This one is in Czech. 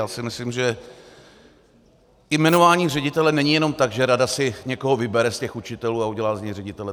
Já si myslím, že i jmenování ředitele není jenom tak, že rada si někoho vybere z těch učitelů a udělá z něj ředitele.